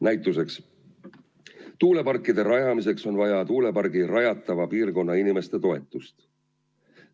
Näiteks tuuleparkide rajamiseks on vaja plaanitava tuulepargi piirkonna inimeste toetust.